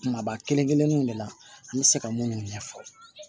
Kumaba kelen kelenninw de la an bɛ se ka minnu ɲɛfɔ